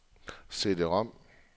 CD-rom